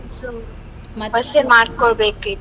So bus ಸೆ ಮಾಡ್ಕೋಬೇಕೇ.